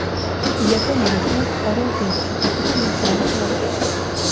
Yaponiyaliklar Orol dengizi haqida material tayyorlaydi.